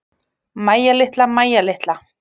Mæja litla, Mæja litla.